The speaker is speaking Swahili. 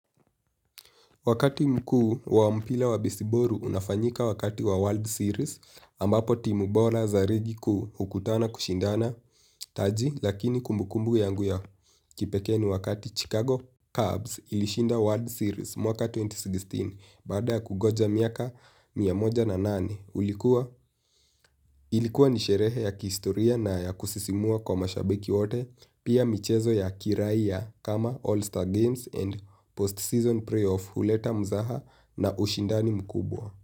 Wakati mkuu wa mpira wa besi boli unafanyika wakati wa world series wakati timu bora za ligi kuu hukutana kushindana taji lakini kumbukumbu yangu ya kipekea ni wakati Chicago Cubs ilishinda World Series mwaka elfu mbili na kumi na sita baada kugoja miaka miamoja na nane. Ilikuwa ni sherehe ya kihistoria na ya kusisimua kwa mashabiki wote. Pia michezo ya kirai ya kama All-Star Games and Post-Season Pre-Off Huleta Mzaha na ushindani mkubwa.